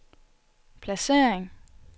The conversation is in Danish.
placering